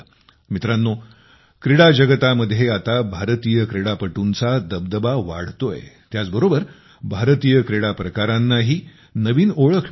मित्रांनो क्रीडा जगतामध्ये आता भारतीय क्रीडापटूंचा दबदबा वाढतोय त्याचबरोबर भारतीय क्रीडा प्रकारांनाही नवीन ओळख मिळत आहे